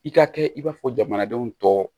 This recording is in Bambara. I ka kɛ i b'a fɔ jamanadenw tɔ